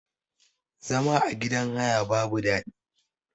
Zama a gidan haya babu daɗi.